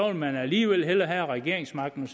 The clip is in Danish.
man alligevel hellere have regeringsmagten